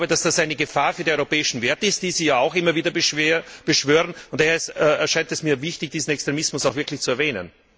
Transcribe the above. Ich glaube, dass das eine Gefahr für die europäischen Werte ist, die Sie ja auch immer wieder beschwören, und daher erscheint es mir wichtig, diesen Extremismus auch wirklich zu erwähnen.